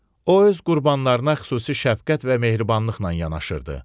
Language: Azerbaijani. O öz qurbanlarına xüsusi şəfqət və mehribanlıqla yanaşırdı.